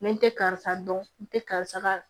Ni n tɛ karisa dɔn n tɛ karisa ka